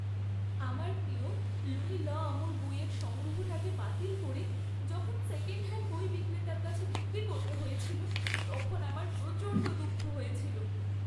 আমার প্রিয় Louis 'L'Amour বইয়ের সংগ্রহটাকে বাতিল করে যখন সেকেণ্ডহ্যাণ্ড বই বিক্রেতার কাছে বিক্রি করতে হয়েছিল তখন আমার প্রচণ্ড দুঃখ হয়েছিল।